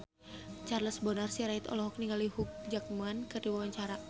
Charles Bonar Sirait olohok ningali Hugh Jackman keur diwawancara